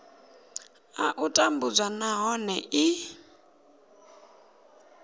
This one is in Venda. a u tambudzwa nahone i